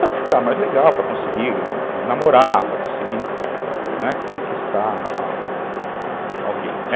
Para ficar mais legal, para conseguir namorar, para conseguir, né, conquistar alguém, né?